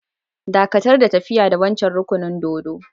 Dakatar da tafiya da wancan rukunin dōdo!